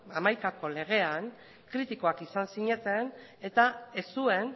hamaikako legean kritikoak izan zineten eta ez zuen